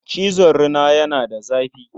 Cizon rina yana da zafi.